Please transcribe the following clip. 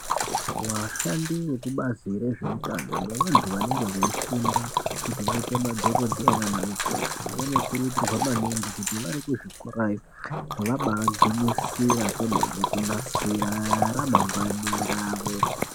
Vashandi vekubazi rezveutano nevanthu vanenge veifunda kuti vaite madhokodheya kana mukoti vanokurudzirwa maningi kuti vari kuzvikorayo vabaagwisira kwene kunasira ramagwani ravo.